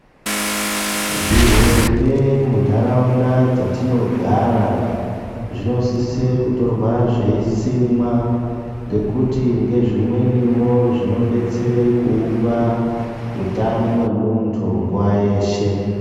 Zvihenge munharaunda dzatinogara zvinosise kutorwa zveisimwa ngekuti ngezvimwenivo zvinobdetsere kuumba hutano wemuntu nguwa yeshe.